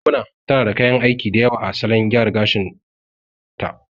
Maimuna tana da kayan aiki dayawa a salon gyara gashin ɗin ta